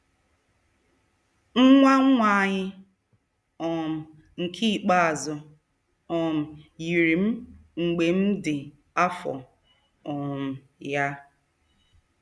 Nwa nwa anyị um nke ikpeazụ um yiri m mgbe m dị afọ um ya.